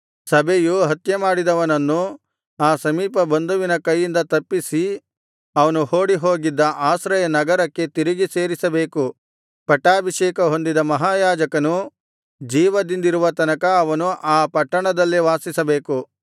ಸಭೆಯು ಹತ್ಯಮಾಡಿದವನನ್ನು ಆ ಸಮೀಪ ಬಂಧುವಿನ ಕೈಯಿಂದ ತಪ್ಪಿಸಿ ಅವನು ಓಡಿಹೋಗಿದ್ದ ಆಶ್ರಯನಗರಕ್ಕೆ ತಿರುಗಿ ಸೇರಿಸಬೇಕು ಪಟ್ಟಾಭಿಷೇಕ ಹೊಂದಿದ ಮಹಾಯಾಜಕನು ಜೀವದಿಂದಿರುವ ತನಕ ಅವನು ಆ ಪಟ್ಟಣದಲ್ಲೇ ವಾಸಿಸಬೇಕು